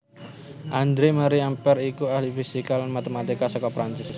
André Marie Ampère iku ahli fisika lan matematika saka Perancis